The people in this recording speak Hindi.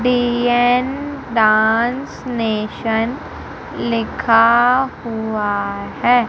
डांस नेशन लिखा हुआ है।